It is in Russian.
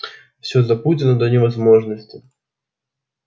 всё запутано до невозможности